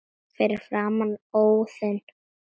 Fyrir framan Iðnó.